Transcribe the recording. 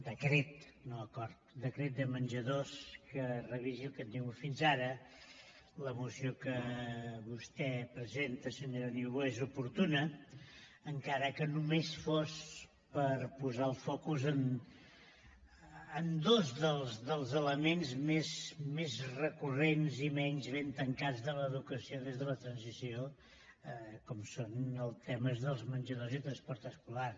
decret no acord decret de menjadors que revisi el que hem tingut fins ara la moció que vostè presenta senyora niubó és oportuna encara que només sigui per posar el focus en dos dels elements més recurrents i menys ben tancats de l’educació des de la transició com són els temes dels menjadors i del transport escolar